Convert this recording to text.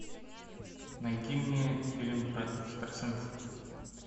найди мне фильм про экстрасенсов